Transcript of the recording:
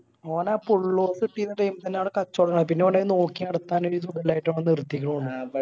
ഓന് ആ പുള്ളോറ കിട്ടീന time ല് ആണ് കചോടുണ്ടായത് പിന്നെ ഓന് അത് നോക്കിനടത്താന് ഒരിതുപോലെയായിട്ട് ഓന് നിർത്തിക്കിണു തോന്നുന്ന